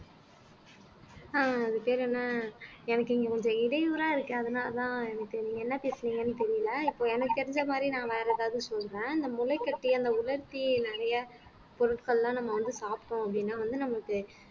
ஆஹ் அது பேரு என்ன எனக்கு இங்க கொஞ்சம் இடையூறா இருக்கு அதனாலதான் எனக்கு நீங்க என்ன பேசுனீங்கன்னு தெரியலே இப்ப எனக்கு தெரிஞ்ச மாதிரி நான் வேற எதாவது சொல்றேன் அந்த முளைகட்டி அந்த உலர்த்தி நிறைய பொருட்கள்லாம் நம்ம வந்து சாப்பிட்டோம் அப்படின்னா வந்து நமக்க